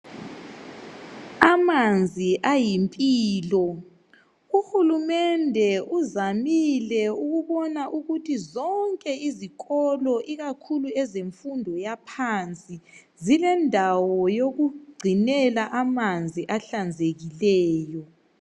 Amanzi ayimpilo uhulumende uzamile ukubona ukuthi zonke izikolo ikakhulu ezmfundo yaphansi zilendawo yokungcinela amanzi ahlanzekileyo